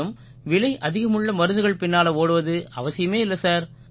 மேலும் விலை அதிகமுள்ள மருந்துகள் பின்னால ஓடுவது அவசியமே இல்லை சார்